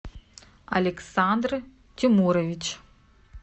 александр тимурович